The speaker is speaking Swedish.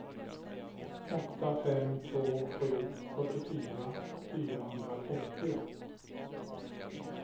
åtta fem två sju fyrtiofyra fyrahundratrettio